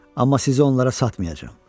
Amma sizi onlara satmayacam.